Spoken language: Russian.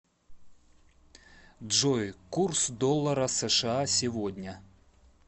джой курс доллара сша сегодня